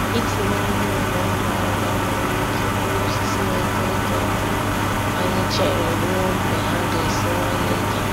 Itinye ihe ure ngwa ngwa nwere ike gbaa osisi na-eto eto ọkụ; anyị chere ruo mgbe ha ga-esiwanye ike.